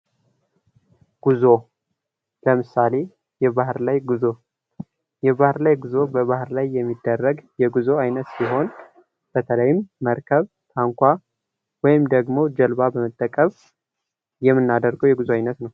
ጉዞ ለምሳሌ የባህር ላይ ጉዞ:- የባህ ላይ ጉዞ በባህር ላይ የሚደረግ የጉዞ አይነት ሲሆን በተለይም መርከብ፣ ታንኳ ወይም ደግሞ ጀልባ በመጠቀም የምናደርገዉ የጉዞ አይነት ነዉ።